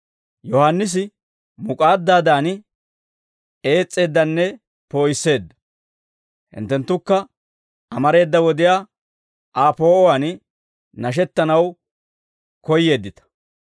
Yohaannisi muk'aaddaadan, ees's'eeddanne poo'isseedda; hinttenttukka amareeda wodiyaa Aa poo'uwaan nashettanaw koyyeeddita.